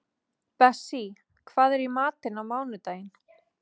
Bessí, hvað er í matinn á mánudaginn?